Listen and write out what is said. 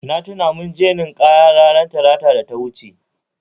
Na tuna mun je nin'kaya Talata da ta wuce